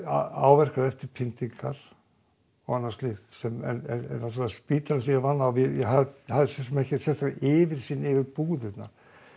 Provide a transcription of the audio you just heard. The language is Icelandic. áverkar eftir pyntingar og annað slíkt en spítalinn sem ég vann við ég hafði enga yfirsýn yfir búðirnar